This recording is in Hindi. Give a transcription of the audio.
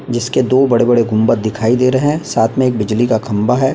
जिसके दो बड़े बड़े गुम्बट दिखाई दे रहे है साथ में एक बिजली का खम्बा है।